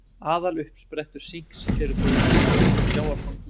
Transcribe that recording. Aðaluppsprettur sinks eru þó í kjöti og sjávarfangi.